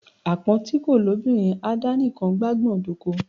Àpọ́n ti kò lóbìnrin á dá nikàn gbágbọ̀n dóko.